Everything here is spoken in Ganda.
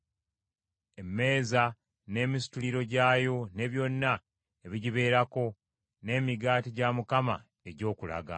emmeeza n’emisituliro gyayo ne byonna ebigibeerako, n’emigaati gya egy’Okulaga;